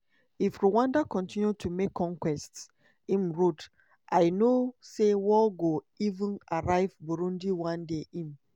"if rwanda continue to make conquests" im wrote "i know say war go even arrive burundi… one day im